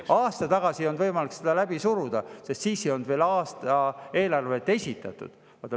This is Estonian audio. Aasta tagasi ei olnud võimalik seda läbi suruda, sest siis ei olnud veel eelarvet esitatud.